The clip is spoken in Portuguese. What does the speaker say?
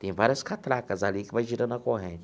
Tem várias catracas ali que vai girando a corrente.